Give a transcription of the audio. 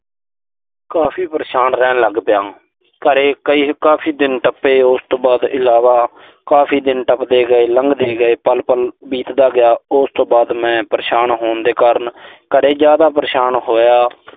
ਕਾਫ਼ੀ ਪਰੇਸ਼ਾਨ ਰਹਿਣ ਲੱਗ ਪਿਆ। ਘਰੇ ਕਾਫ਼ੀ ਦਿਨ ਟੱਪੇ। ਉਸ ਤੋਂ ਬਾਅਦ ਇਲਾਵਾ ਕਾਫ਼ੀ ਦਿਨ ਟੱਪਦੇ ਗਏ, ਲੰਘਦੇ ਗਏ, ਪਲ-ਪਲ ਬੀਤਦਾ ਗਿਆ। ਉਸ ਤੋਂ ਬਾਅਦ ਮੈਂ ਪਰੇਸ਼ਾਨ ਹੋਣ ਦੇ ਕਾਰਨ ਘਰੇ ਜ਼ਿਆਦਾ ਪਰੇਸ਼ਾਨ ਹੋਇਆ।